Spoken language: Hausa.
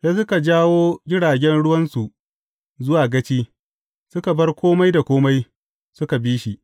Sai suka jawo jiragen ruwansu zuwa gaci, suka bar kome da kome, suka bi shi.